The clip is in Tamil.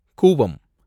கூவம்